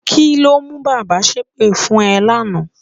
Kí ló mú bàbá ṣépè fún ẹ lánàá?